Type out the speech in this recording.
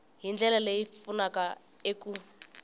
hi ndlela leyi pfunaka eku